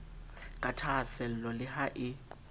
ka thahaasello le ha e